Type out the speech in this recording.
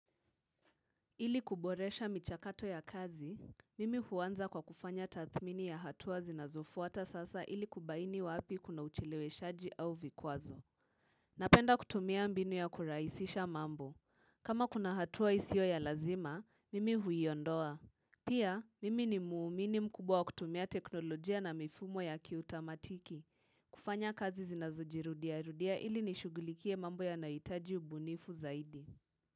Ili kuboresha michakato ya kazi, mimi huanza kwa kufanya tathmini ya hatua zinazofuata sasa ili kubaini wapi kuna ucheleweshaji au vikwazo. Napenda kutumia mbinu ya kurahisisha mambo. Kama kuna hatua isio ya lazima, mimi huiondoa. Pia, mimi ni muumini mkubwa kutumia teknolojia na mifumo ya kiutamatiki. Kufanya kazi zinazojirudiarudia ili nishugulikie mambo yanayohitaji ubunifu zaidi.